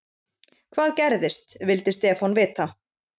Hvað gerðist? vildi Stefán vita.